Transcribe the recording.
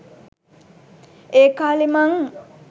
ඒකාලේ මං